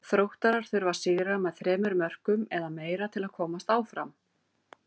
Þróttarar þurfa að sigra með þremur mörkum eða meira til að komast áfram.